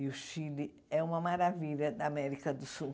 E o Chile é uma maravilha da América do Sul.